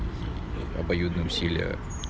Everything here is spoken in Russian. обоюдное усилие